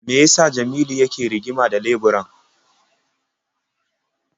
Me ya sa Jamilu yake rigima da leburan?